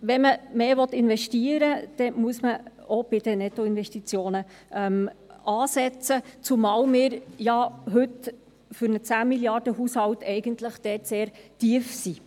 Wenn man mehr investieren will, muss man auch bei den Nettoinvestitionen ansetzen, zumal wir ja heute für einen 10 Mrd.-Franken-Haushalt eigentlich sehr tief liegen.